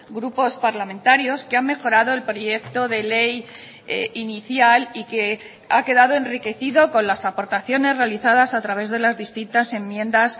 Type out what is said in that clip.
grupos parlamentarios que han mejorado el proyecto de ley inicial y que ha quedado enriquecido con las aportaciones realizadas a través de las distintas enmiendas